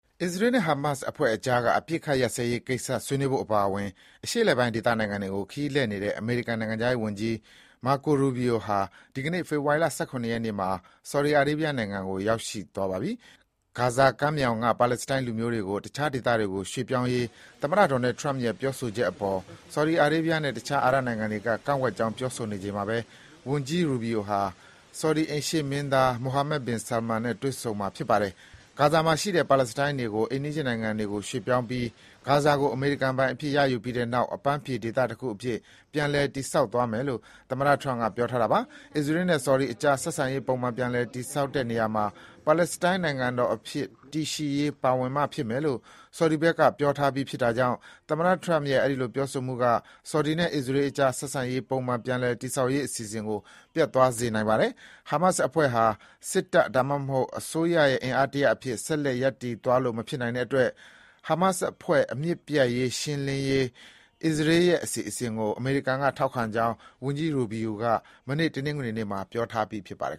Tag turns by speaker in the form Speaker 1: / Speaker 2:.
Speaker 1: အစ္စရေးနဲ့ ဟာမတ်စ်အဖွဲ့ကြားက အပစ်အခတ်ရပ်စဲရေးကိစ္စ ဆွေးနွေးဖို့အပါအဝင် အရှေ့အလယ်ပိုင်း ဒေသနိုင်ငံတွေကို ခရီးလှည့်နေတဲ့ အမေရိကန်နိုင်ငံခြားရေးဝန်ကြီး Marco Rubio ဟာ ဒီကနေ့ ဖေဖော်ဝါရီ ၁၇ ရက်နေ့မှာ ဆော်ဒီအာရေးဘီးယားနိုင်ငံကို ရောက်ရှိသွားပါပြီ။ ဂါဇာကမ်းမြောင်က ပါလက်စတိုင်းလူမျိုးတွေကို တခြားဒေသတွေကို ရွှေ့ပြောင်းရေး သမ္မတ Donald Trump ရဲ့ ပြောဆိုချက်အပေါ် ဆော်ဒီအာရေးဘီးယားနဲ့ တခြားအာရပ်နိုင်ငံတွေက ကန့်ကွက်ကြောင်း ပြောဆိုနေချိန်မှာပဲ ဝန်ကြီး Rubio ဟာ ဆော်ဒီ အိမ်ရှေ့မင်းသား Mohammed bin Salman နဲ့ တွေ့ဆုံမှာ ဖြစ်ပါတယ်။ ဂါဇာမှာရှိတဲ့ပါလက်စတိုင်းတွေကို အိမ်နီးချင်းနိုင်ငံတွေကို ရွှေ့ပြောင်းပြီး ဂါဇာကို အမေရိကန်ပိုင် အဖြစ် ရယူပြီးတဲ့နောက် အပန်းဖြေဒေသတခုအဖြစ် ပြန်လည်တည်ဆောက်သွားမယ်လို့ သမ္မတ Trump က ပြောထားတာပါ။ အစ္စရေးနဲ့ ဆော်ဒီကြား ဆက်ဆံရေးပုံမှန်ပြည်လည်တည်ဆောက်တဲ့နေရာမှာ ပါလက်စတိုင်း နိုင်ငံတော်အဖြစ်တည်ရှိရေး ပါဝင်မှဖြစ်မယ်လို့ ဆော်ဒီဘက်ကပြောထားပြီးဖြစ်တာကြောင့် သမ္မတ Trump ရဲ့ အဲဒီလိုပြောဆိုမှုက ဆော်ဒီနဲ့ အစ္စရေးကြား ဆက်ဆံရေး ပုံမှန်ပြည်လည်ဆောက်ရေး အစီအစဉ်ကို ပျက်ပြားသွားစေမှာ ဖြစ်ပါတယ်။ ဟာမတ်စ်အဖွဲ့ဟာ စစ်တပ် ဒါမှမဟုတ် အစိုးရရဲ့ အင်အားတရပ်အဖြစ် ဆက်လက်ရပ်တည်သွားလို့ မဖြစ်နိုင်တဲ့အတွက် ဟာမတ်စ်အဖွဲ့ အမြစ်ပြတ်ရှင်းလင်းရေး အစ္စရေးရဲ့အစီအစဉ်ကို အမေရိကန်က ထောက်ခံကြောင်း ဝန်ကြီး Rubio က မနေ့ တနင်္ဂနွေနေ့မှာ ပြောထားပြီး ဖြစ်
Speaker 2: ပါတယ်